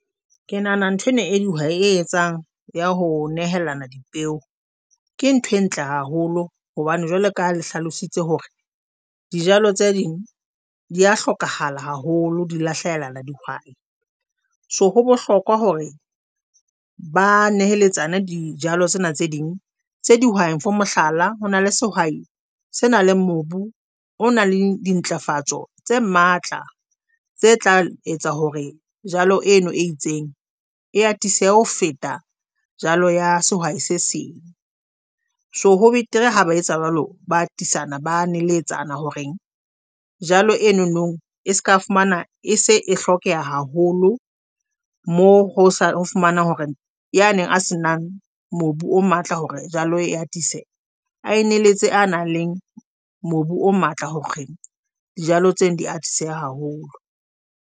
Ke nahana ntho ena e dihwai etsang ya ho nehelana dipeo. Ke nthwe ntle haholo hobane jwale ka le hlalositse hore dijalo tse ding di a hlokahala haholo, di lahlehela na dihwai, so ho bohlokwa hore ba neheletsane dijalo tsena tse ding tse dihwai for mohlala ho na le sehwai se na le mobu o na le dintlafatso tse matla tse tla etsa hore jalo eno e itseng e atisehe ho feta jalo ya sehwai se seng. So ho betere ha ba etsa jwalo, ba atisana ba neletsana horeng jalo eno no e seka fumana e se e hlokeha haholo mo ho fumana hore ya neng a se nang mobu o matla hore jalo e atise a neletse a nang le mobu o matla hore dijalo tsena di ate haholo.